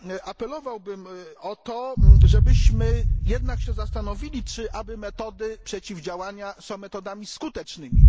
Apelowałbym o to, żebyśmy jednak się zastanowili, czy aby metody przeciwdziałania są metodami skutecznymi.